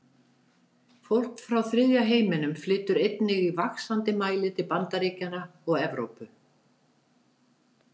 Fólk frá þriðja heiminum flytur einnig í vaxandi mæli til Bandaríkjanna og Evrópu.